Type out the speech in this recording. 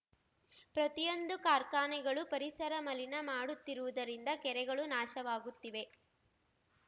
ಪ್ರತಿಯೊಂದು ಕಾರ್ಖಾನೆಗಳು ಪರಿಸರ ಮಲಿನ ಮಾಡುತ್ತಿರುವುದರಿಂದ ಕೆರೆಗಳು ನಾಶವಾಗುತ್ತಿವೆ